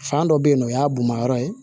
Fan dɔ bɛ yen nɔ o y'a bonman yɔrɔ ye